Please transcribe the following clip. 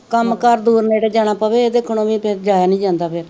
ਕੰਮ ਕਾਰ ਦੂਰ ਨੇੜੇ ਜਾਣਾ ਪਵੇ ਏਹਦੇ ਵੀ ਜਾਯਾ ਨੀ ਜਾਂਦਾ ਫੇਰ